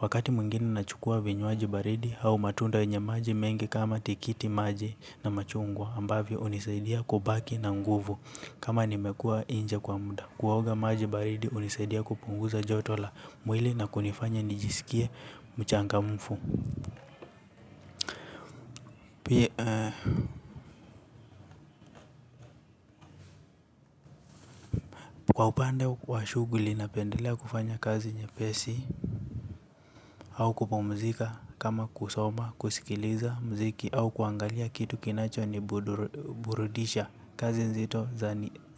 Wakati mwingine nachukua vinywaji baridi au matunda yenye maji mengi kama tikiti maji na machungwa ambavyo hunisaidia kubaki na nguvu kama nimekua nje kwa muda. Kuoga maji baridi hunisaidia kupunguza joto la mwili na kunifanya nijisikie mchangamfu. Kwa upande wa shughuli, napendelea kufanya kazi nyepesi au kupumzika kama kusoma, kusikiliza mziki au kuangalia kitu kinacho ni burudisha. Kazi nzito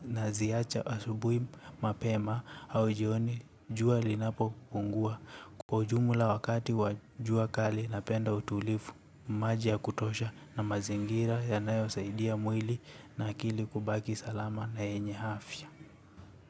naziwacha asubuhi mapema au jioni jua linapopungua. Kwa ujumla wakati wa jua kali napenda utulivu, maji ya kutosha na mazingira yanayosaidia mwili na akili kubaki salama na yenye afya.